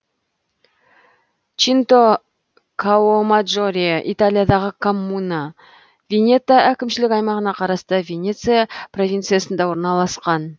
чинто каомаджоре италиядағы коммуна венето әкімшілік аймағына қарасты венеция провинциясында орналасқан